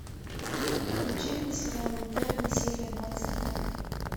включи мне сериал интерны серия двадцать два